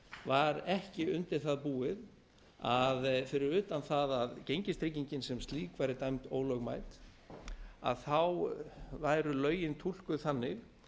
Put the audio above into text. var ekki undir það búið að fyrir utan að að gengistryggingin sem slík væri dæmd ólögmæt væru lögin túlkuð þannig